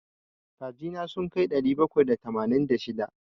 Kaji na sun kai ɗari bakwai da tamanin da shida.